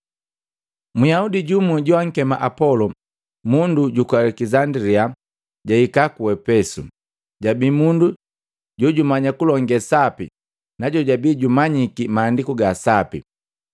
Myaudi jumu joakema Apolo, mundu juku Alekisandilia na jahika ku Epesu. Jabii mundu jojumanya kulonge sapi na jojabii jumanyiki Maandiku ga Sapi.